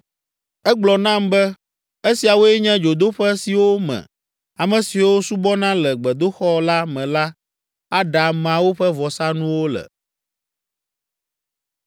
Egblɔ nam be, “Esiawoe nye dzodoƒe siwo me ame siwo subɔna le gbedoxɔ la me la aɖa ameawo ƒe vɔsanuwo le.”